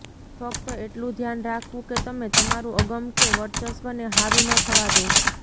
ફક્ત એટલું ધ્યાન રાખવું કે તમે તમારું અગમ કે વર્ચસ્વને હાવી ન થવા દો